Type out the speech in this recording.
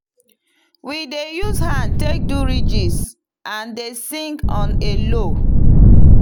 we dey use hand take do ridges and dey sing on a low.